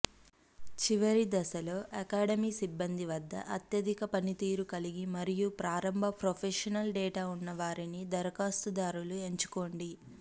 చివరి దశలో అకాడమీ సిబ్బంది వద్ద అత్యధిక పనితీరు కలిగి మరియు ప్రారంభ ప్రొఫెషనల్ డేటా ఉన్నవారిని దరఖాస్తుదారులు ఎంచుకోండి